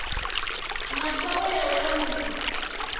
na khoro ya u langula